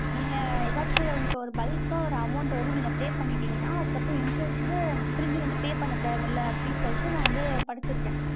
நீங்க எதாச்சும் உங்களுக்கு ஒரு bulk ஆ, ஒரு amount வந்து நீங்க pay பண்ணிட்டீங்கன்னா, அதுக்கப்புறம் insurance வந்து, திரும்பி வந்து pay பண்ண தேவையில்ல, அப்படின்னு சொல்லிட்டு, நான் வந்து படிச்சிருக்கேன்